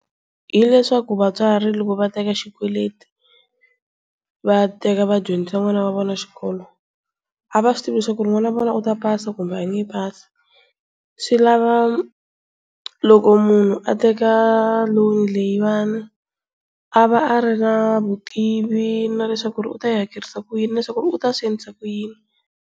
Hileswaku vatswari loko va teka xikweleti va teka vadyondzisa n'wana wa vona xikolo a va swi tivi leswaku n'wana wa vona u ta pasa kumbe a nge pasi swi lava loko munhu a teka loan leyiwani a va a ri na vutivi na leswaku u ta yi hakerisa ku yini na leswaku u ta swi endlisa ku yini?